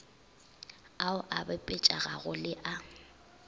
ao a bapetpegago le a